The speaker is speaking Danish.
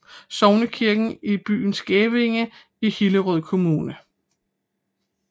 Sognekirken i byen Skævinge i Hillerød Kommune